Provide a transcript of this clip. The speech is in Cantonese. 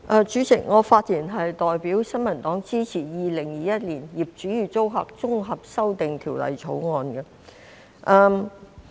代理主席，我發言代表新民黨支持《2021年業主與租客條例草案》。